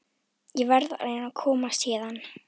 Ég verð að reyna að komast héðan.